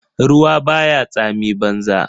Ruwa baya tsami banza.